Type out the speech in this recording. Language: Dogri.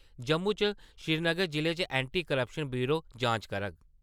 जम्मू च श्रीनगर जिले च एंटी क्रपशन ब्यूरो जांच करग।